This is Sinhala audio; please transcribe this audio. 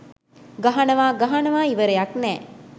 ගහනවා ගහනවා ඉවරයක් නෑ